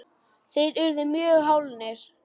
þeir urðu mjög hálir.